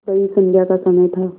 वही संध्या का समय था